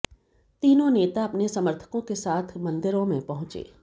तीनों नेता अपने समर्थकों के साथ मंदिरों में पहुंचे